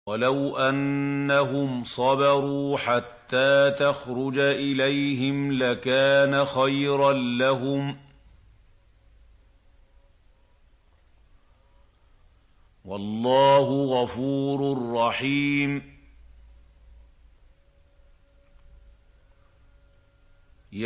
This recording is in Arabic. وَلَوْ أَنَّهُمْ صَبَرُوا حَتَّىٰ تَخْرُجَ إِلَيْهِمْ لَكَانَ خَيْرًا لَّهُمْ ۚ وَاللَّهُ غَفُورٌ رَّحِيمٌ